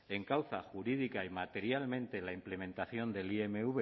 encauza jurídica y materialmente la implementación del imv